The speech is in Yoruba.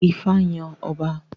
Ifá yàn ọba